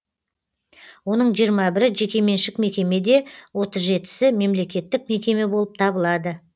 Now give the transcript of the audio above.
оның жиырма бірі жекеменшік мекеме де отыз жетісі мемлекеттік мекеме болып табылады